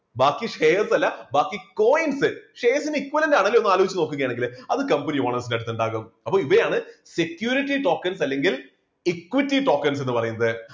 ബാക്കി shares അല്ല ബാക്കി coins shares ന് equivalent ആണല്ലോ ഒന്ന് ആലോചിച്ചു നോക്കുകയാണെങ്കില് അത് company owners ന്റെ അടുത്തുണ്ടാകും അപ്പൊ ഇവയാണ് security tokens അല്ലെങ്കിൽ equity tokens എന്ന് പറയുന്നത്.